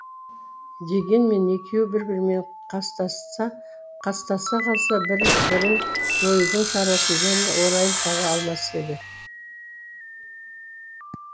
дегенмен екеуі бір бірімен қастаса қалса бір бірін жоюдың шарасын және орайын таба алмас еді